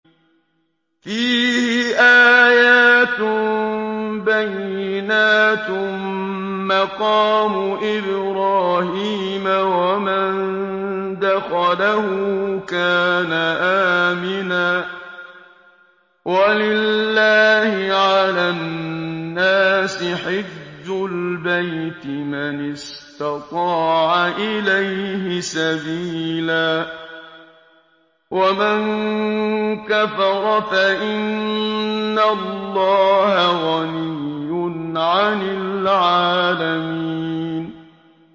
فِيهِ آيَاتٌ بَيِّنَاتٌ مَّقَامُ إِبْرَاهِيمَ ۖ وَمَن دَخَلَهُ كَانَ آمِنًا ۗ وَلِلَّهِ عَلَى النَّاسِ حِجُّ الْبَيْتِ مَنِ اسْتَطَاعَ إِلَيْهِ سَبِيلًا ۚ وَمَن كَفَرَ فَإِنَّ اللَّهَ غَنِيٌّ عَنِ الْعَالَمِينَ